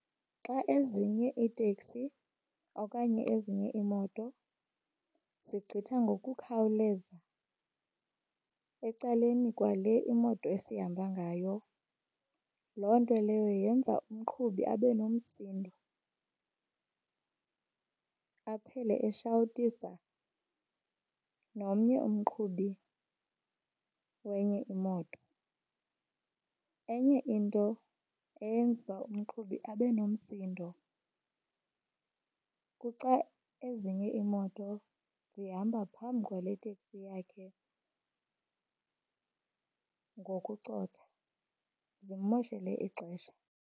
Xa ezinye iiteksi okanye ezinye iimoto zigqitha ngokukhawuleza ecaleni kwale imoto esihamba ngayo, loo nto leyo yenza umqhubi abe nomsindo aphele eshawutisa nomnye umqhubi wenye imoto. Enye into eyenza uba umqhubi abe nomsindo kuxa ezinye iimoto zihamba phambi kwale iteksi yakhe ngokucotha zimmoshele ixesha.